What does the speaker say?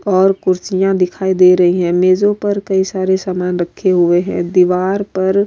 اور کرسیا دکھائی دے رہی ہے۔ مجو پر کی سارے سامان رکھے ہوئے ہے۔ دیوار پر --